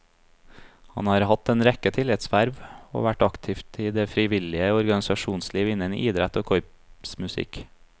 Han har hatt en rekke tillitsverv, og vært aktiv i det frivillige organisasjonsliv innen idrett og korpsmusikk.